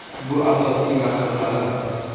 Bu asosiy maqsadlarim”.